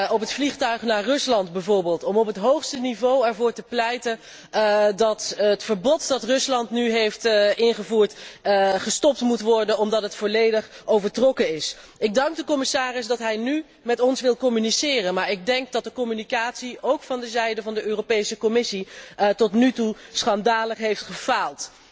Op het vliegtuig naar Rusland bijvoorbeeld, om er op het hoogste niveau voor te pleiten dat het verbod dat Rusland nu heeft ingevoerd, wordt ingetrokken omdat het volledig overtrokken is. Ik dank de commissaris dat hij nu met ons wil communiceren, maar de communicatie, ook van de zijde van de Europese Commissie, heeft tot nu toe schandalig gefaald.